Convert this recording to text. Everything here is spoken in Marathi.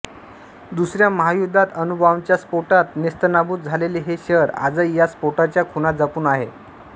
दुसऱ्या महायुद्धात अणुबॉम्बाच्या स्फोटात नेस्तनाबूत झालेले हे शहर आजही या स्फोटाच्या खुणा जपून आहे